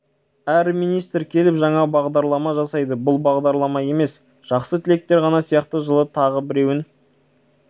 әр министр келіп жаңа бағдарлама жасайды бұл бағдарлама емес жақсы тілектер ғана сияқты жылы тағы біреуін